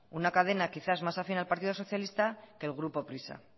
una cadena quizá más afín al partido socialista que el grupo prisa